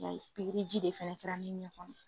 pikiriji de fana kɛra ne ɲɛ na.